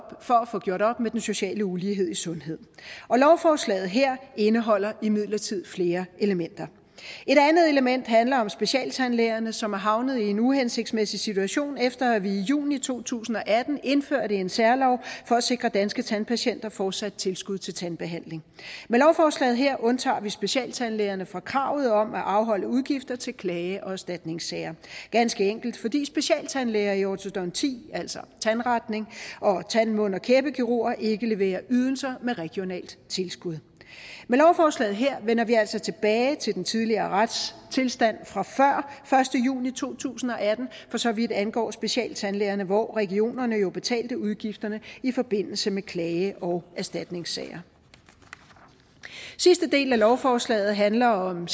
for at få gjort op med den sociale ulighed i sundhed lovforslaget her indeholder imidlertid flere elementer et andet element handler om specialtandlægerne som er havnet i en uhensigtsmæssig situation efter at vi i juni to tusind og atten indførte en særlov for at sikre danske tandpatienter fortsat tilskud til tandbehandling med lovforslaget her undtager vi specialtandlægerne fra kravet om at afholde udgifter til klage og erstatningssager ganske enkelt fordi specialtandlæger i ortodonti altså tandretning og tand mund og kæbekirurger ikke leverer ydelser med regionalt tilskud med lovforslaget her vender vi altså tilbage til den tidligere retstilstand fra før første juni to tusind og atten for så vidt angår specialtandlægerne hvor regionerne jo betalte udgifterne i forbindelse med klage og erstatningssager sidste del af lovforslaget handler om